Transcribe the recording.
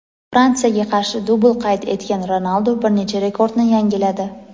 Fransiyaga qarshi dubl qayd etgan Ronaldu bir necha rekordni yangiladi.